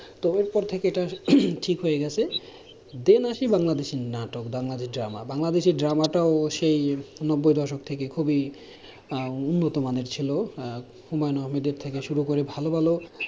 তো এর পর থেকে এটা ঠিক হয়ে গেছে, then আসি বাংলাদেশীর নাটক বাংলাদেশীর drama বাংলাদেশী drama টা অবশ্যই নব্বই দশক থেকে খুবই আহ উন্নতমানের ছিল, আহ হুমায়ুন আহমেদের থেকে শুরু করে ভালো ভালো,